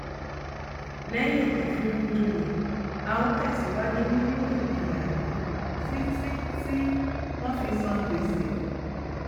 lẹyìn ìfinijòyè a ó tẹsìwájú nínú ìpínyà yìí títí tí wọn fi san gbèsè